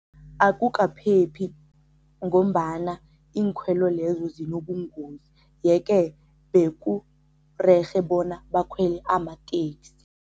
Akukaphephi ngombana iinkhwelo lezo zinobungozi, yeke beku rerhe bona bakhwele amateksi.